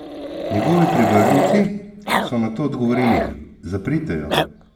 Njegovi privrženci so na to odgovorili: "Zaprite jo".